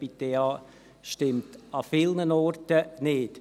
Das EBITDA stimmt an vielen Orten nicht.